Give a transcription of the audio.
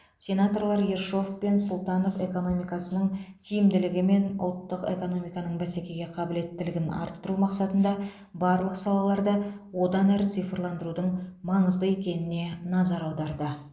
сенаторлар ершов пен сұлтанов экономикасының тиімділігі мен ұлттық экономиканың бәсекеге қабілеттілігін арттыру мақсатында барлық салаларды одан әрі цифрландырудың маңызды екеніне назар аударды